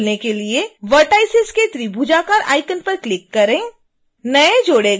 group खोलने के लिए vertices के त्रिभुजाकार आइकॉन पर क्लिक करें